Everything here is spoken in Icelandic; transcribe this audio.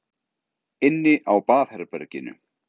Inni á baðherberginu.